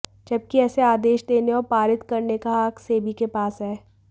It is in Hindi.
जबकि ऐसे आदेश देने और पारित करने का हक सेबी के पास है